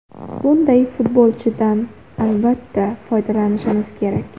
Bunday futbolchidan, albatta, foydalanishimiz kerak.